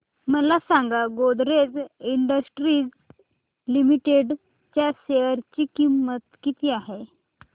मला सांगा Godrej industries limited च्या शेअर ची किंमत किती आहे